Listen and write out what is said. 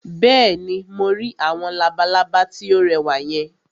Bẹ́ẹ̀ni, mo rí àwọn labalábá tí ó rẹwà yẹn